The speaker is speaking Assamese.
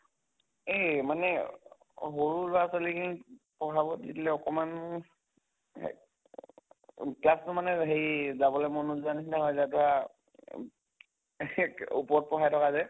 এই মানে সৰু লʼৰা ছোৱালী খিনিক পঢ়াব দি দিলে অকমান হেই অহ class টো মানে হেৰি যাবলৈ মন নোযোৱা নিছিনা হৈ যায় তʼ আ এম ওপৰত পঢ়াই থকে যে